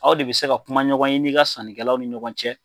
Aw de bɛ se ka kuma ɲɔgɔn ye n'i ka sannikɛlaw ni ɲɔgɔn cɛ